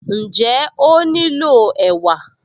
Ǹjẹ́ ó nílò ẹ̀wà?